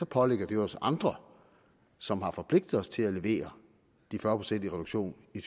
pålægger det jo os andre som har forpligtet os til at levere de fyrre procent i reduktion i